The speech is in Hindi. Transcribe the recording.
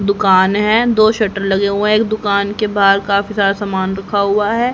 दुकान है दो शटर लगे हुए है एक दुकान के बाहर काफी सारा सामान रखा हुआ है।